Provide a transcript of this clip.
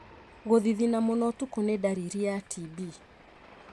Gũthithina mũno ũtukũ nĩ ndariri ya TB.